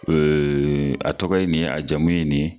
Ee a tɔgɔ ye nin ye a jamu ye nin